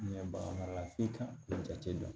Ɲɛ baga f'i kan jate dɔn